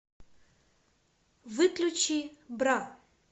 выключи бра